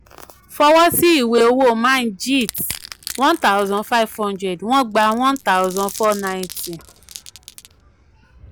fọwọ́ sí ìwé owó manjeet one thousand five hundred wọ́n gba one thousand four ninety